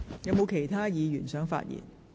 是否有其他議員想發言？